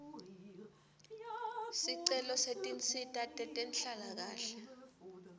sicelo setinsita tetenhlalakahle